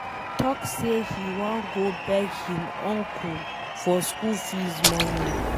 He talk say he wan go beg him uncle for school fees money.